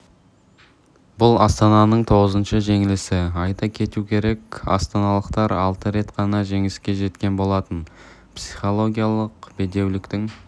бұл астананың тоғызыншы жеңілісі айта кету керек астаналықтар алты рет қана жеңіске жеткен болатын психологиялық бедеуліктің